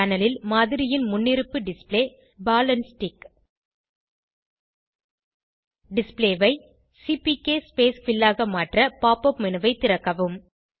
panel ல் மாதிரியின் முன்னிருப்பு display ball and stick display ஐ சிபிகே ஸ்பேஸ் பில் ஆக மாற்ற pop up மேனு ஐ திறக்கவும்